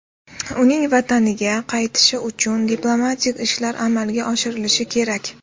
Uning vataniga qaytishi uchun diplomatik ishlar amalga oshirilishi kerak.